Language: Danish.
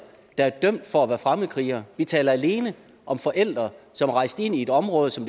der er dømt for at være fremmedkrigere vi taler alene om forældre som er rejst ind i et område som